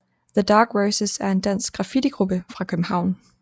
The Dark Roses er en dansk graffitigruppe fra København